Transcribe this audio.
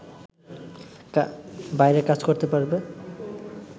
বাইরে কাজ করতে পারবে